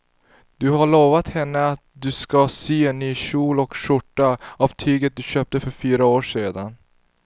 Du har lovat henne att du ska sy en kjol och skjorta av tyget du köpte för fyra år sedan.